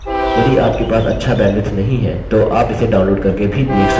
* यदि आपके पास अच्छा बैन्डविड्थ नहीं है तो आप इसे download करके भी देख सकते हैं